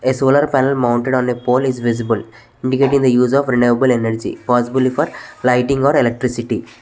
a solar panel mounted on a pole is visible indicating the use of renewable energy possibly for lighting or electricity.